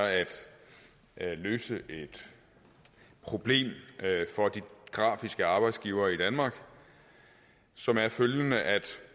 at løse et problem for de grafiske arbejdsgivere i danmark som er følgende